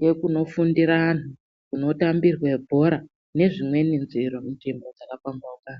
nekunofundira anhu kunotambirwe bhora nezvimweni zviro zvakapambauka.